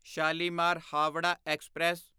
Shalimar Howrah express